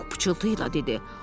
Pux pıçıltı ilə dedi.